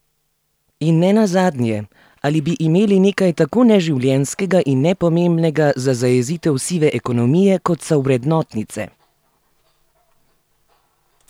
In ne nazadnje, ali bi imeli nekaj tako neživljenjskega in nepomembnega za zajezitev sive ekonomije, kot so vrednotnice?